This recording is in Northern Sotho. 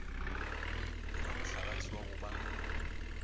ke ramohlagase wa go ba